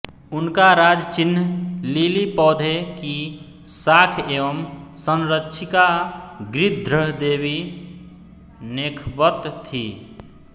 उनका राजचिह्न लिली पौधे की शाख एवं संरक्षिका गृध्रदेवी नेखबत थी